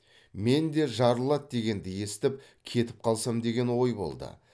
мен де жарылады дегенді естіп кетіп қалсам деген ой болды